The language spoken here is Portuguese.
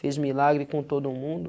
Fez milagre com todo mundo?